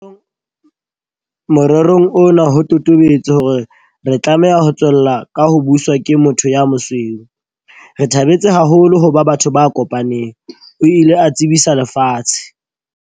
Morerong ona ho totobetse hore re tlameha ho tswella ka ho buswa ke motho ya mosweu. Re thabetse haholo ho ba batho ba kopaneng, o ile a tsebisa lefatshe.